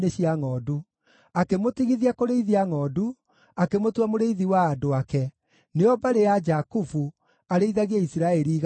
akĩmũtigithia kũrĩithia ngʼondu, akĩmutua mũrĩithi wa andũ ake, nĩo mbarĩ ya Jakubu, arĩithagie Isiraeli igai rĩake.